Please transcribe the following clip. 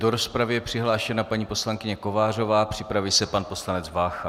Do rozpravy je přihlášena paní poslankyně Kovářová, připraví se pan poslanec Vácha.